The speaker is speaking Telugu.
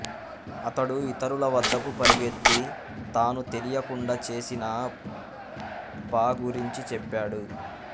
అతడు ఇతరులవద్దకు పరుగెత్తి తాను తెలియకుండా చేసిన ప గురించి చెప్పాడు